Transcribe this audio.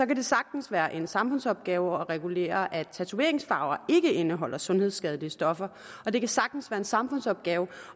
kan det sagtens være en samfundsopgave at regulere at tatoveringsfarver ikke indeholder sundhedsskadelige stoffer og det kan sagtens være en samfundsopgave